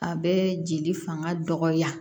A bɛ jeli fanga dɔgɔya